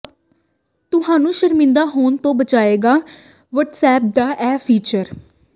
ਤੁਹਨੂੰ ਸ਼ਰਮਿੰਦਾ ਹੋਣ ਤੋਂ ਬਚਾਏਗਾ ਵਟਸਐਪ ਦਾ ਇਹ ਫੀਚਰ